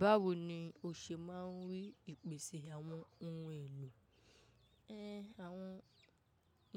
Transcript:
Báwo ni o ṣe máa ń rí ìpèsè àwọn ohun èlò? Run, àwọn